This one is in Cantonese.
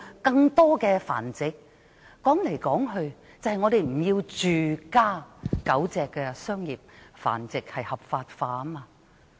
歸根究底，我們就是不要住家狗隻商業繁殖合法化。